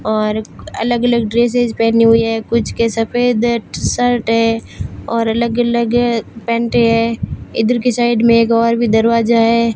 और अलग अलग ड्रेसेस पहनी हुई है कुछ के सफेद है टी शर्ट है और अलग अलग पैंटे हैं इधर के साइड मे एक और भी दरवाजा है।